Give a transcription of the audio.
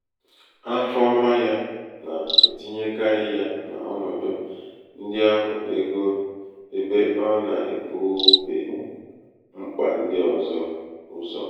afọọma yā nà-ètinyekarị ya n’ọnọdụ nhịaahụ egō ebe ọ nà-èbube mkpà ndị ọ̀zọ ụzọ̀.